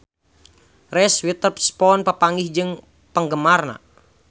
Reese Witherspoon papanggih jeung penggemarna